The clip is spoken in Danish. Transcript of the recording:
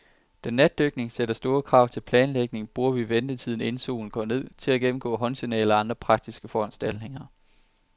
Da natdykning sætter store krav til planlægning, bruger vi ventetiden, inden solen går ned, til at gennemgå håndsignaler og andre praktiske foranstaltninger.